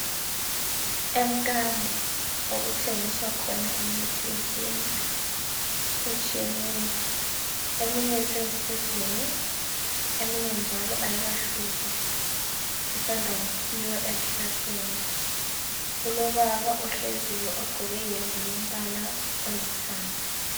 Emkambo okuthengiswa khona imithi yesintu etshiyeneyo eminye isesigujini eminye njalo ayikahkuzwa isanda kukhiwa ezihlahleni kulobaba ogqqoke iyembe yombala olithanga.